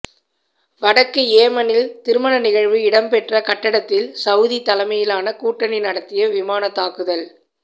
வடக்கு யேமனில் திருமண நிகழ்வு இடம்பெற்ற கட்டடத்தில் சவுதி தலைமையிலான கூட்டணி நடத்திய விமானத் தாக்குத